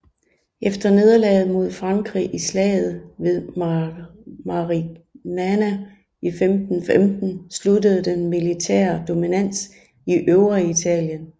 Efter nederlaget mod Frankrig i Slaget ved Marignano i 1515 sluttede den militære dominans i Øvreitalien